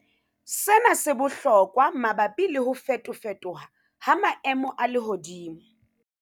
Sena se bohlokwa mabapi le ho fetofetoha ha maemo a lehodimo.